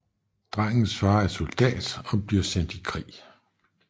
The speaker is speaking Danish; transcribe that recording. Drengens far er soldat og bliver sendt i krig